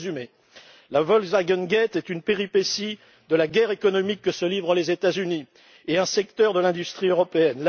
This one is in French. Pour résumer, le Volkswagengate est une péripétie de la guerre économique que se livrent les États Unis et un secteur de l'industrie européenne.